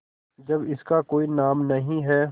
जब इसका कोई नाम नहीं है